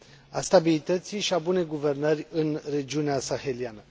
a stabilității și a bunei guvernări în regiunea saheliană.